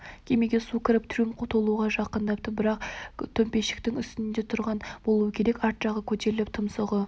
кемеге су кіріп трюм толуға жақындапты бірақ төмпешіктің үстінде тұрған болуы керек арт жағы көтеріліп тұмсығы